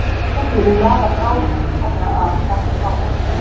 Krabbadýrið laðar bráðina einfaldlega að kjafti hákarlsins.